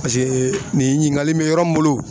nin ɲininkali in bɛ yɔrɔ min bolo